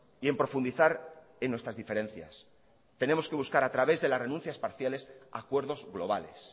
y en profundizar en nuestras diferencias tenemos que buscar a través de las renuncias parciales acuerdos globales